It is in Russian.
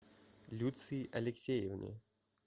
люции алексеевне